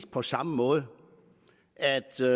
på samme måde altså